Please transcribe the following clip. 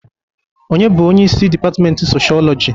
Onye bụ onye isi dipatment Soshọọlọjị?